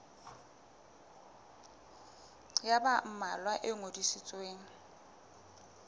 ya ba mmalwa e ngodisitsweng